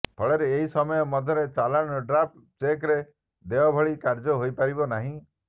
ଫଳରେ ଏହି ସମୟ ମଧ୍ୟରେ ଚାଲାଣ ଡ୍ରାଫ୍ଟ ଚେକରେ ଦେୟ ଭଳି କାର୍ଯ୍ୟ ହୋଇପାରିବ ନାହିଁ